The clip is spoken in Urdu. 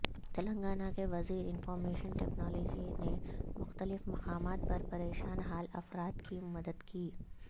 تلنگانہ کے وزیر انفارمیشن ٹکنالوجی نے مختلف مقامات پر پریشان حال افراد کی مدد کی